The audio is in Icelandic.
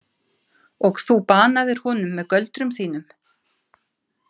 Og þú banaðir honum með göldrum þínum.